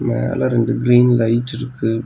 மேல ரெண்டு க்ரீன் லைட்டிருக்கு .